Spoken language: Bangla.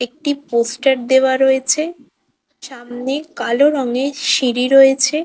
একটি পোস্টার দেওয়া রয়েছে। সামনে কালো রংয়ের সিঁড়ি রয়েছে।